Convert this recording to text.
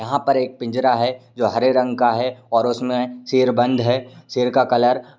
यहाँ पर एक पिंजरा है जो हरे रंग का है और उसमे शेर बंद है। शेर का कलर --